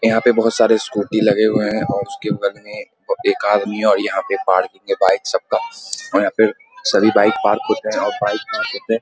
यहाँ पे बहोत सारे स्कूटी लगे हुए हैं और उसके बगल में एक आदमी है और यहाँ पे पार्किंग है बाइक सब का और यहाँ पे सभी बाइक पार्क होते हैं और बाइक करते हैं ।